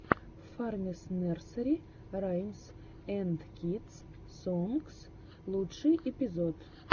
фармис нерсери раймс энд кидс сонгс лучший эпизод